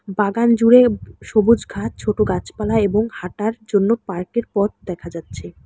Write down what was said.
বাগান জুড়ে সবুজ ঘাস ছোট গাছপালা এবং হাঁটার জন্য পার্কের পথ দেখা যাচ্ছে।